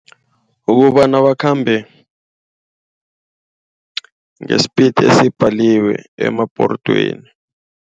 Ukobana bakhambe nge-speed esibhaliweko emabhodweni.